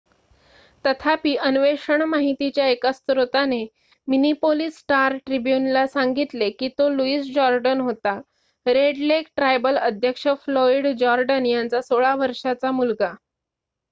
तथापि अन्वेषण माहितीच्या एका स्त्रोताने मिनिपोलीस स्टार ट्रिब्युन ला सांगितलेकी तो लुईस जोर्डन होता रेड लेक ट्रायबल अध्यक्ष फ्लोईड जोर्डन यांचा 16 वर्षाचा मुलगा